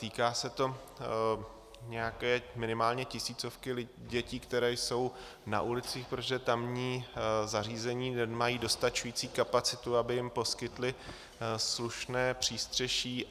Týká se to nějaké minimálně tisícovky dětí, které jsou na ulicích, protože tamní zařízení nemají dostačující kapacitu, aby jim poskytly slušné přístřeší.